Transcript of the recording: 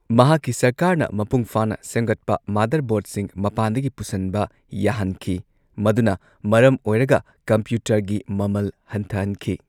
ꯃꯍꯥꯛꯀꯤ ꯁꯔꯀꯥꯔꯅ ꯃꯄꯨꯡ ꯐꯥꯅ ꯁꯦꯝꯒꯠꯄ ꯃꯥꯗꯔ ꯕꯣꯔꯗꯁꯤꯡ ꯃꯄꯥꯟꯗꯒꯤ ꯄꯨꯁꯟꯕ ꯌꯥꯍꯟꯈꯤ, ꯃꯗꯨꯅ ꯃꯔꯝ ꯑꯣꯏꯔꯒ ꯀꯝꯄ꯭ꯌꯨꯇꯔꯒꯤ ꯃꯃꯜ ꯍꯟꯊꯍꯟꯈꯤ꯫